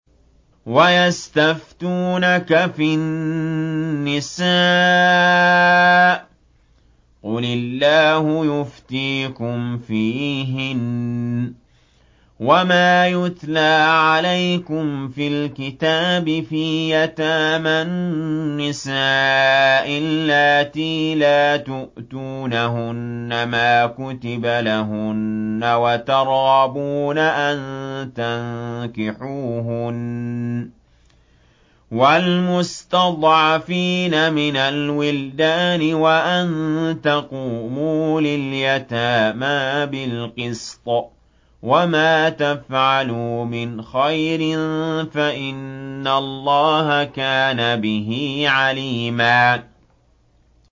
وَيَسْتَفْتُونَكَ فِي النِّسَاءِ ۖ قُلِ اللَّهُ يُفْتِيكُمْ فِيهِنَّ وَمَا يُتْلَىٰ عَلَيْكُمْ فِي الْكِتَابِ فِي يَتَامَى النِّسَاءِ اللَّاتِي لَا تُؤْتُونَهُنَّ مَا كُتِبَ لَهُنَّ وَتَرْغَبُونَ أَن تَنكِحُوهُنَّ وَالْمُسْتَضْعَفِينَ مِنَ الْوِلْدَانِ وَأَن تَقُومُوا لِلْيَتَامَىٰ بِالْقِسْطِ ۚ وَمَا تَفْعَلُوا مِنْ خَيْرٍ فَإِنَّ اللَّهَ كَانَ بِهِ عَلِيمًا